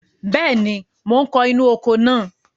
Bẹ́ẹ̀ni, mò ń kó inú oko náà.